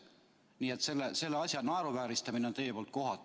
Nii et selle asja naeruvääristamine on teie poolt kohatu.